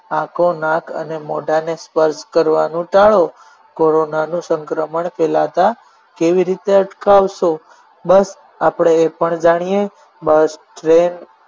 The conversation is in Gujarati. આંખો નાથ અને મોઢાને સ્પર્શ કરવાનું ટાળો કોરોનાનું સંક્રમણ ફેલાતા કેવી રીતે અટકાવશો બસ આપણે એ પણ જાણીએ bus train